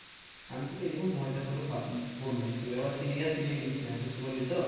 আমি তোকে এরকম মজা করে বললাম তুই আবার serious নিয়ে নিস না বুঝতে পারলি তো?